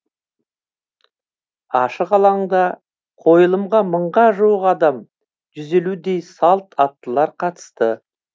ашық алаңда қойылымға мыңға жуық адам жүз елудей салт аттылар қатысты